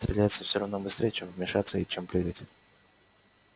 стреляться все равно быстрей чем вешаться и чем прыгать